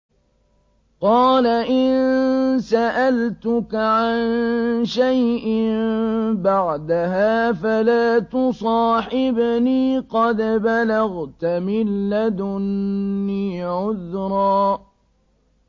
قَالَ إِن سَأَلْتُكَ عَن شَيْءٍ بَعْدَهَا فَلَا تُصَاحِبْنِي ۖ قَدْ بَلَغْتَ مِن لَّدُنِّي عُذْرًا